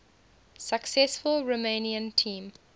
successful romanian team